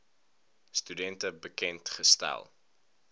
studente bekend gestel